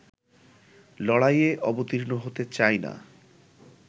লড়াইয়ে অবতীর্ণ হতে চাই না